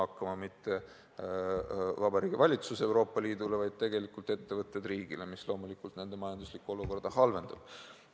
Aga mitte Vabariigi Valitsus Euroopa Liidule, vaid tegelikult ettevõtted riigile, mis loomulikult nende majanduslikku olukorda halvendab.